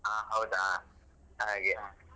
ಹ ಹೌದಾ ಹಾಗೆ.